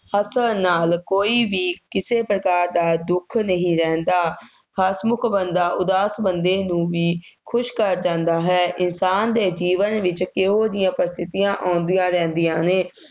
ਹੱਸਣ ਨਾਲ ਕੋਈ ਵੀ ਕਿਸੇ ਪ੍ਰਕਾਰ ਦਾ ਦੁੱਖ ਨਹੀਂ ਰਹਿੰਦਾ। ਹਸਮੁੱਖ ਬੰਦਾ ਉਦਾਸ ਬੰਦੇ ਨੂੰ ਵੀ ਖੁਸ਼ ਕਰ ਜਾਂਦਾ ਹੈ। ਇਨਸਾਨ ਦੇ ਜੀਵਨ ਵਿੱਚ ਇਹੋ ਜਿਹੀਆਂ ਪ੍ਰਸਥਿਤੀਆਂ ਆਉਂਦੀਆਂ ਰਹਿੰਦੀਆ ਨੇ।